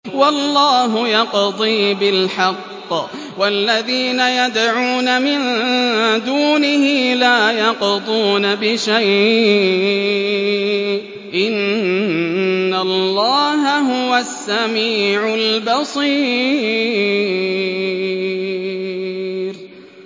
وَاللَّهُ يَقْضِي بِالْحَقِّ ۖ وَالَّذِينَ يَدْعُونَ مِن دُونِهِ لَا يَقْضُونَ بِشَيْءٍ ۗ إِنَّ اللَّهَ هُوَ السَّمِيعُ الْبَصِيرُ